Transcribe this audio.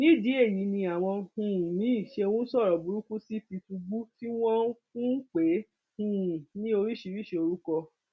nídìí èyí ni àwọn um míín ṣe ń sọrọ burúkú sí tìtúngbù tí wọn ń pè é um ní oríṣiríṣii orúkọ